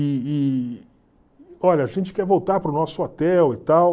E e, olha, a gente quer voltar para o nosso hotel e tal.